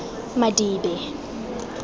madibe